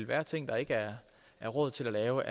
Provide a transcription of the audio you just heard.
være ting der ikke er råd til at lave